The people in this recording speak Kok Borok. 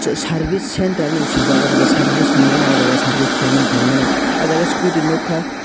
service center hinui suijak o jaga service rimano o jaga service kailaimani taimano o jaga scooty nogkha.